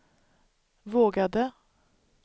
vågade